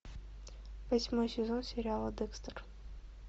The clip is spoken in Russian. восьмой сезон сериала декстер